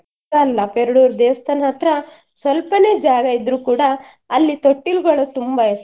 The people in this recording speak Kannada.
ಅಲ್ಲ ಪೆರ್ಡೂರು ದೇವಸ್ಥಾನ ಹತ್ರ ಸ್ವಲ್ಪನೆ ಜಾಗ ಇದ್ರೂ ಕೂಡ ಅಲ್ಲಿ ತೊಟ್ಟಿಲುಗಳು ತುಂಬ ಇರ್ತವೆ.